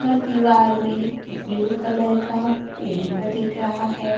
यह दीवार में ब्लू कलर का पेंट दिख रहा है।